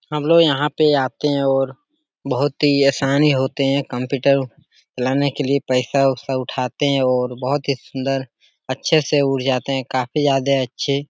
हमलोग यहाँ पे आते हैं और बहोत ही आसानी होते हैं कॉम्पिटर चलाने के लिए पैसा उसा उठाते हैं और बहोत ही सूंदर अच्छे से उठ जाते हैं। काफी ज्यादे अच्छे --